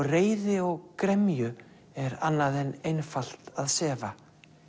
reiði og gremju er annað en einfalt að sefa